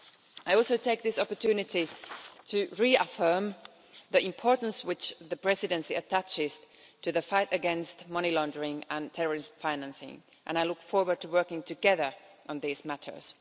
I also take this opportunity to reaffirm the importance which the Presidency attaches to the fight against money laundering and terrorist financing and I look forward to working together on these matters.